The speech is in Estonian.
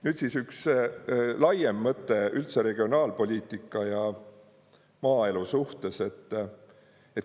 Nüüd üks laiem mõte üldse regionaalpoliitika ja maaelu suhtes.